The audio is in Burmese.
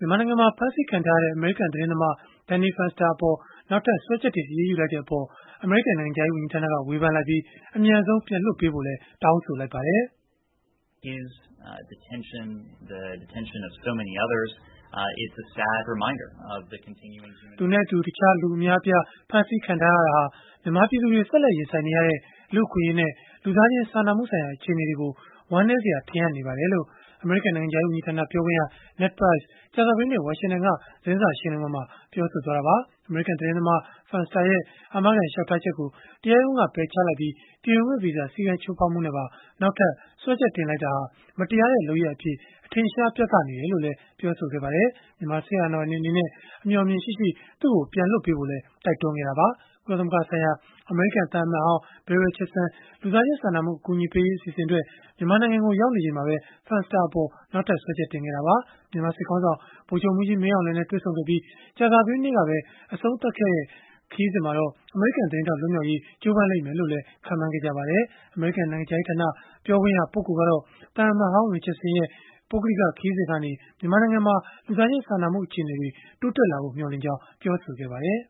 မြန်မာနိုင်ငံမှာ ဖမ်းဆီးခံထားရတဲ့ အမေရိကန်သတင်းသမား Danny Fenster အပေါ် နောက်ထပ်စွဲချက်တင် အရေးယူလိုက်တဲ့အပေါ် အမေရိကန် နိုင်ငံခြားရေး ဝန်ကြီးဌာနက ဝေဖန်လိုက်ပြီး၊ အမြန်ဆုံး ပြန်လွှတ်ပေးဖို့ တောင်းဆိုလိုက်ပါတယ်။ “သူနဲ့တခြားလူတွေ အများအပြား ဖမ်းဆီးခံထားရတာဟာ မြန်မာပြည်သူတွေ ဆက်လက် ရင်ဆိုင်နေရတဲ့ လူ့အခွင့်အရေးနဲ့ လူသားချင်း စာနာမှုဆိုင်ရာ အခြေအနေတွေကို ဝမ်းနည်းစရာ ထင်ဟပ်နေပါတယ်။” လို့ အမေရိကန် နိုင်ငံခြားရေး ဝန်ကြီးဌာန ပြောခွင့်ရ Ned Price က ကြာသပတေးနေ့ ဝါရှင်တန်က သတင်းစာရှင်းလင်းပွဲမှာ ပြောဆိုသွားတာပါ။ အမေရိကန်သတင်းသမား Fenster ရဲ့ အာမခံလျှောက်ထားချက်ကို တရားရုံးက ပယ်ချလိုက်ပြီး၊ ပြည်ဝင်ခွင့်ဗီဇာ စည်းကမ်းချိုးဖောက်မှုနဲ့ပါ နောက်ထပ်စွဲချက်တင်လိုက်တာဟာ မတရားတဲ့ လုပ်ရပ်အဖြစ် အထင်အရှား ပြသနေတယ်လို့လည်း ပြောပါတယ်။ မြန်မာစစ်အာဏာပိုင်တွေ အနေနဲ့ အမျှော်အမြင်ရှိရှိ သူ့ကို ပြန်လွှတ်ပေးဖို့လည်း တိုက်တွန်းခဲ့တာပါ။ ကုလသမဂ္ဂဆိုင်ရာ အမေရိကန် သံအမတ်ဟောင်း Bill Richardson လူသားချင်းစာနာမှု အကူအညီပေးရေး အစီအစဉ်အတွက် မြန်မာနိုင်ငံကို ရောက်နေချိန်မှာပဲ Fenster အပေါ် စွဲချက်ထပ်တင်ခဲ့တာပါ။ မြန်မာစစ်ခေါင်းဆောင် ဗိုလ်ချုပ်မှူးကြီး မင်းအောင်လှိုင်နဲ့ တွေ့ဆုံခဲ့ပြီး ကြာသပတေးနေ့ကပဲ အဆုံးသတ်ခဲ့တဲ့ ခရီးစဉ်မှာတော့ အမေရိကန်သတင်းထောက် လွတ်မြောက်ရေး ကြိုးပမ်းလိမ့်မယ်လို့လည်း ခန့်မှန်းခဲ့ကြပါတယ်။ အမေရိကန် နိုင်ငံခြားရေးဌာန ပြောခွင့်ရ ပုဂ္ဂိုလ်ကတော့ သံအမတ်ဟောင်း Richardson ရဲ့ ပုဂ္ဂလိက ခရီးစဉ်ကနေ မြန်မာနိုင်ငံမှာ လူသားချင်းစာနာမှု အခြေအနေတွေ တိုးတက်လာဖို့ မျှော်လင့်ကြောင်း ပြောဆိုခဲ့ပါတယ်